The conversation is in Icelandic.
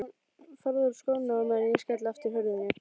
Farðu úr skónum á meðan ég skelli aftur hurðinni.